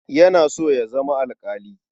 Yana so ya zama alƙali.